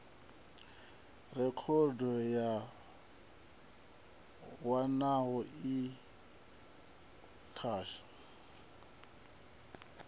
rekhodo ya wanala i khatsho